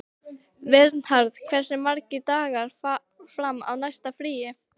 Vernharð, hversu margir dagar fram að næsta fríi?